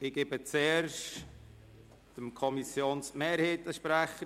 Zuerst erteile ich dem Sprecher der Kommissionsmehrheit das Wort.